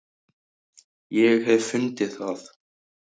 ég hef fundið það!